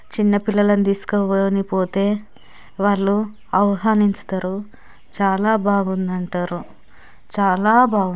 చిన్న పిల్లలని తీసుకొని పొతే వాళ్ళు ఆవ్హనించుతారు చాలా బావుంది అంటారు చాలా బావుం --